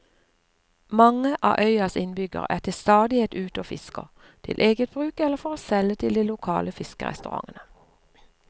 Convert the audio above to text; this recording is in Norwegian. Mange av øyas innbyggere er til stadighet ute og fisker, til eget bruk eller for å selge til de lokale fiskerestaurantene.